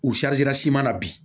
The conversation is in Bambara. U siman na bi